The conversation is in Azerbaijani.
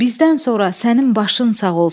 Bizdən sonra sənin başın sağ olsun.